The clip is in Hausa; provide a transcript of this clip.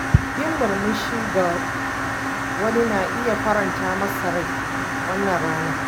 Yin murmushi ga wani na iya faranta masa rai wannan ranar.